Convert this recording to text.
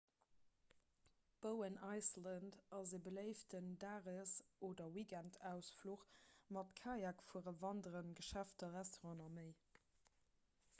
bowen island ass e beléiften dages oder weekendausfluch mat kajakfueren wanderen geschäfter restauranten a méi